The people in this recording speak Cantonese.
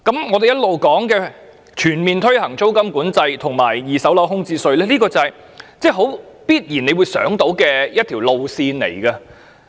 我們經常提及的全面推行租金管制及二手樓宇空置稅，是大家必然想到的一條路線。